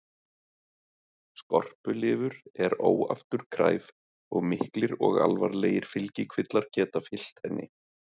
Skorpulifur er óafturkræf og miklir og alvarlegir fylgikvillar geta fylgt henni.